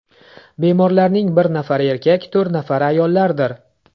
Bemorlarning bir nafari erkak, to‘rt nafari ayollardir.